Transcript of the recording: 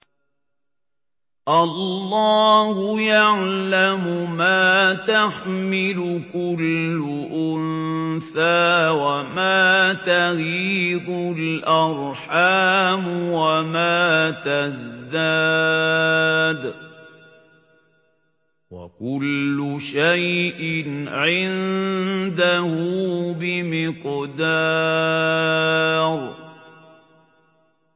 اللَّهُ يَعْلَمُ مَا تَحْمِلُ كُلُّ أُنثَىٰ وَمَا تَغِيضُ الْأَرْحَامُ وَمَا تَزْدَادُ ۖ وَكُلُّ شَيْءٍ عِندَهُ بِمِقْدَارٍ